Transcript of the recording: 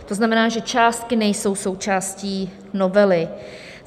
To znamená, že částky nejsou součástí novely.